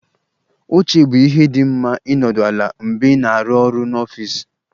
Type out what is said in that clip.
Oche bụ ihe dị mma ịnọdụ ala mgbe ị na-arụ ọrụ n'ọfịs